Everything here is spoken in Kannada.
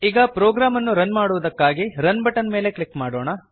ಈಗ ಪ್ರೋಗ್ರಾಮ್ ಅನ್ನು ರನ್ ಮಾಡುವುದಕ್ಕಾಗಿ ರನ್ ಬಟನ್ ಮೇಲೆ ಕ್ಲಿಕ್ ಮಾಡೋಣ